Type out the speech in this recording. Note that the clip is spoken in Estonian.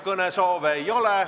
Kõnesoove ei ole.